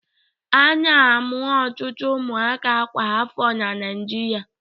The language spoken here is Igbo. A na-amụ ọtụtụ ụmụaka kwa afọ na Naịjirịa.